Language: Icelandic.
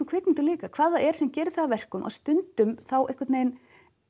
kvikmyndum líka hvað það er sem gerir það að verkum að stundum þá einhvern veginn